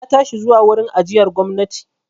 Na tashi zuwa wurin ajiyar gwamnati.